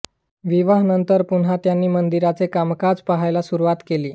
विवाहानंतर पुन्हा त्यांनी मंदिराचे कामकाज पाहायला सुरुवात केली